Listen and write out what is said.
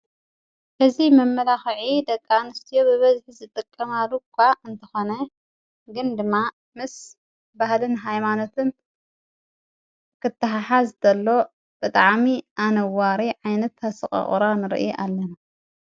እዚይ መመላክዒ ደቂ ኣንስትዮ ብበዝሒ ዝጥቀማሉ እንካ እንተኾነ ግን ድማ ምስ ባህልን ሃይማኖትን ክትሓሓዝ ከሎ ብጣዕሚ ኣነዋሪ ዓይነት ኣሰቆቁራ ንሪኢ ኣለና።